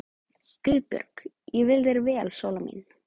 GUÐBJÖRG: Ég vil þér vel, Sóla mín.